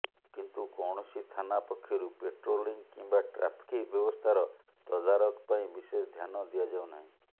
କିନ୍ତୁ କୌଣସି ଥାନା ପକ୍ଷରୁ ପାଟ୍ରୋଲିଂ କିମ୍ବା ଟ୍ରାଫିକ୍ ବ୍ୟବସ୍ଥାର ତଦାରଖ ପାଇଁ ବିଶେଷ ଧ୍ୟାନ ଦିଆଯାଉନାହିଁ